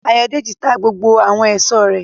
Ayọ̀dèjì ta gbogbo àwọn èso rẹ̀